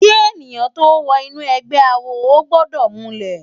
Ki èniyán tó wò inú ègbè àwó ógbòdò múlè